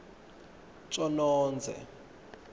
tjonondze